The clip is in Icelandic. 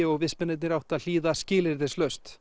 og vistmennirnir áttu að hlýða